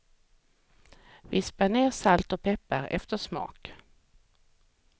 Vispa ner salt och peppar efter smak.